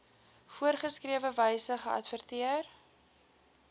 voorgeskrewe wyse geadverteer